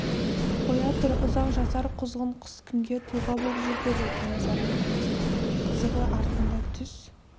қоя тұр ұзақ жасар құзғын құс кімге тұлға боп жүр деді кенесары таймасқа қызығы артында түс